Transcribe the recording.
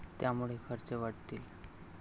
त्यामुळे खर्च वाढतील.